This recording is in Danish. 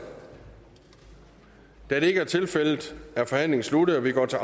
da det ikke er tilfældet er forhandlingen sluttet og vi går til